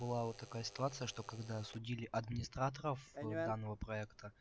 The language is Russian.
была вот такая ситуация что когда судили администраторов данного проекта